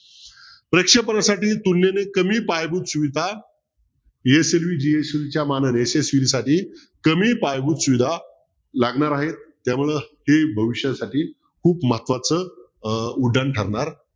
प्रेक्षेपणासाठी तुलनेने कमी पायाभूत सुविधा मानाने साठी कमी पायाभूत सुविधा लागणार आहे त्यामुळं ते भविष्यासाठी खूप महत्वाचं अं उड्डाण ठरणार